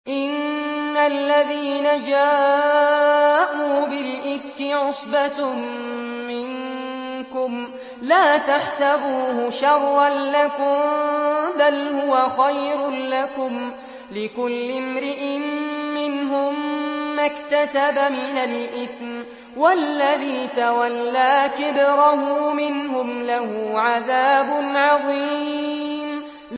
إِنَّ الَّذِينَ جَاءُوا بِالْإِفْكِ عُصْبَةٌ مِّنكُمْ ۚ لَا تَحْسَبُوهُ شَرًّا لَّكُم ۖ بَلْ هُوَ خَيْرٌ لَّكُمْ ۚ لِكُلِّ امْرِئٍ مِّنْهُم مَّا اكْتَسَبَ مِنَ الْإِثْمِ ۚ وَالَّذِي تَوَلَّىٰ كِبْرَهُ مِنْهُمْ لَهُ عَذَابٌ عَظِيمٌ